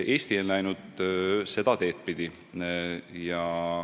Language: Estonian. Eesti on läinud seda teed pidi.